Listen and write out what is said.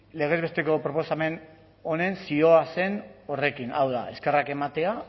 legez besteko proposamen honen zioa zen horrekin hau da eskerrak ematea